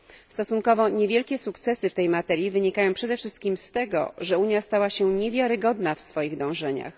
Stosunkowo niewielkie sukcesy w tej materii wynikają przede wszystkim z tego, że Unia stała się niewiarygodna w swoich dążeniach.